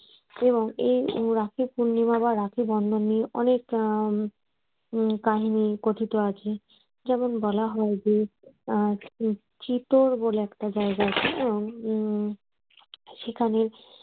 এবং এই রাখি পূর্ণিমা বা রাখি বন্ধন নিয়ে অনেক কাহিনী কথিত আছে। যেমন বলা হয় যে আহ চিতোর বলে একটা জায়গা আছে উম সেখানে